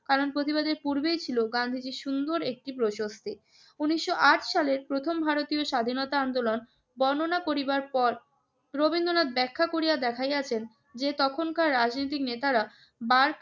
কারণ প্রতিবাদের পূর্বেই ছিল গান্ধীজির সুন্দর একটি প্রশস্তি। উনিশশো আট সালের প্রথম ভারতীয় স্বাধীনতা আন্দোলন বর্ণনা করিবার পর রবীন্দ্রনাথ ব্যাখ্যা করিয়া দেখাইয়াছেন যে, তখনকার রাজনৈতিক নেতারা বার্চ